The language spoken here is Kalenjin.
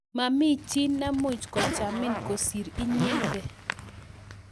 Mami chi ne mukuchamin kosirin inyete